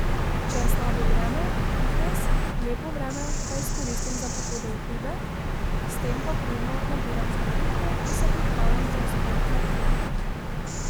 Če je slabo vreme, fitnes, lepo vreme pa izkoristim za pohode v hribe, s tem pa pridno nabiram štampiljke in se pripravljam za vzpon na Triglav.